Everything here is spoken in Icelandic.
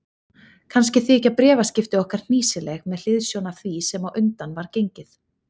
Kannski þykja bréfaskipti okkar hnýsileg með hliðsjón af því sem á undan var gengið.